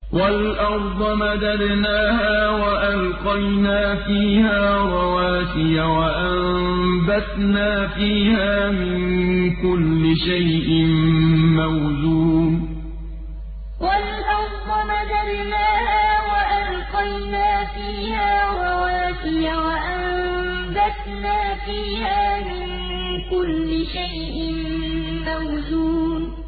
وَالْأَرْضَ مَدَدْنَاهَا وَأَلْقَيْنَا فِيهَا رَوَاسِيَ وَأَنبَتْنَا فِيهَا مِن كُلِّ شَيْءٍ مَّوْزُونٍ وَالْأَرْضَ مَدَدْنَاهَا وَأَلْقَيْنَا فِيهَا رَوَاسِيَ وَأَنبَتْنَا فِيهَا مِن كُلِّ شَيْءٍ مَّوْزُونٍ